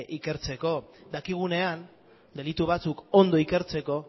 ikertzeko dakigunean delitu batzuk ondo ikertzeko